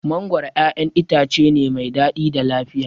Mangoro ƴaƴan itace ne mai daɗi da lafiya.